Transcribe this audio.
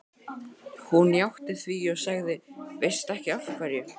Hún játti því og sagði: Veistu ekki af hverju?